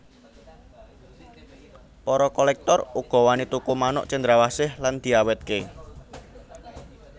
Para kolèktor uga wani tuku manuk cendrawasih lan diawètké